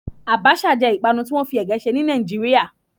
Àbàṣà jẹ́ ìpanu tí wọ́n fi ègé ṣe ní Nàìjíríà